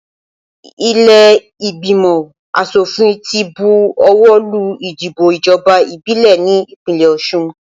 Ilé ìgbìmọ̀ asòfin ti bu ọwọ́ lù ìdìbò ìjọba ìbílẹ̀ ní ìpínlẹ̀ Osun